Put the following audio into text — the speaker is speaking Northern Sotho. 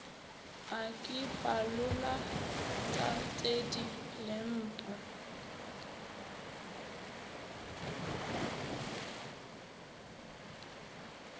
a ke phalola tatedi lempo